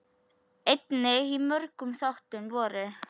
Einnig í mörgum þáttum voru: